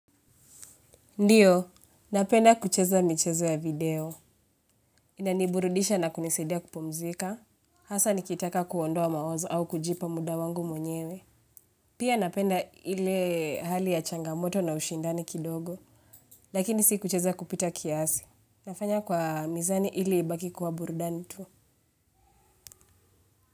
Ndiyo, napenda kucheza michezo ya video. Ina niburudisha na kunisaidia kupumzika. Hasa nikitaka kuondoa mawazo au kujipa muda wangu mwenyewe. Pia napenda ile hali ya changamoto na ushindani kidogo. Lakini si kucheza kupita kiasi. Nafanya kwa mizani ili ibaki kuwa burudani tu.